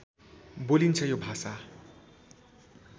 बोलिन्छ यो भाषा